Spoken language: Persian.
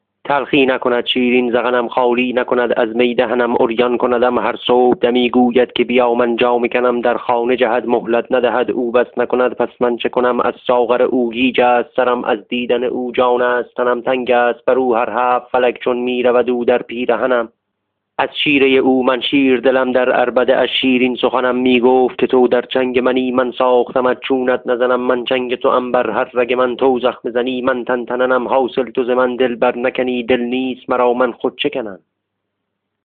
تلخی نکند شیرین ذقنم خالی نکند از می دهنم عریان کندم هر صبحدمی گوید که بیا من جامه کنم در خانه جهد مهلت ندهد او بس نکند پس من چه کنم از ساغر او گیج است سرم از دیدن او جان است تنم تنگ است بر او هر هفت فلک چون می رود او در پیرهنم از شیره او من شیردلم در عربده اش شیرین سخنم می گفت که تو در چنگ منی من ساختمت چونت نزنم من چنگ توام بر هر رگ من تو زخمه زنی من تن تننم حاصل تو ز من دل برنکنی دل نیست مرا من خود چه کنم